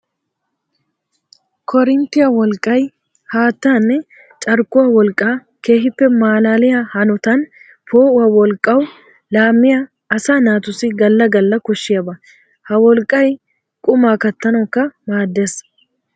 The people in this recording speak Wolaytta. Koorinttiya wolqqay haattanne carkkuwa wolqqa keehippe malaalliya hanotan poo'uwa wolqqawu laamiya asaa naatussi gala gala koshiyaba. Ha wolqqay quma kattanawukka maades.